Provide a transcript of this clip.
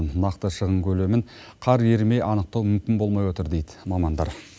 нақты шығын көлемін қар ерімей анықтау мүмкін болмай отыр дейді мамандар